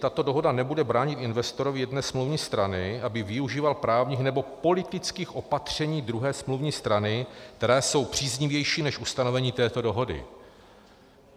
Tato dohoda nebude bránit investorovi jedné smluvní strany, aby využíval právních nebo politických opatření druhé smluvní strany, která jsou příznivější než ustanovení této dohody.